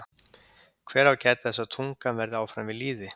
Hver á að gæta þess að tungan verði áfram við lýði?